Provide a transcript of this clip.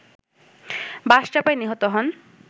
বাসচাপায় নিহত হন